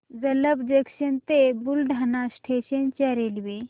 Jalamb junction ते Buldhana station च्या railway